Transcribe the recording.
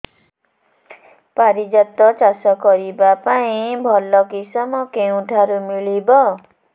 ପାରିଜାତ ଚାଷ କରିବା ପାଇଁ ଭଲ କିଶମ କେଉଁଠାରୁ ମିଳିବ